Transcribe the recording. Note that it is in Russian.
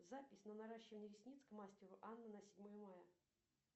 запись на наращивание ресниц к мастеру анна на седьмое мая